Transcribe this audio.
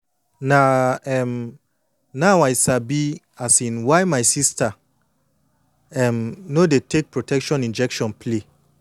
na um now i don sabi um why my sister um no dey take protection injection play